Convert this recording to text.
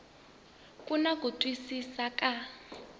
ri na ku twisisa ka